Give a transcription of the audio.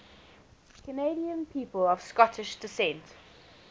canadian people of scottish descent